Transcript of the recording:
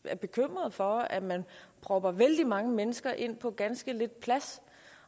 jeg er bekymret for at man propper vældig mange mennesker ind på ganske lidt plads